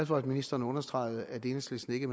for at ministeren understregede at enhedslisten ikke